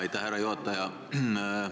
Aitäh, härra juhataja!